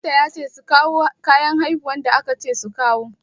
Likita ya ce su kawo kayan haihuwa da aka ce su kawo.